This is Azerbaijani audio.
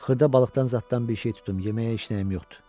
Xırda balıqdan zaddan bir şey tutum, yeməyə işləyən yoxdur.